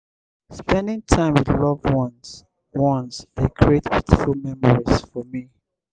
spending time with loved ones ones dey create beautiful memories for me.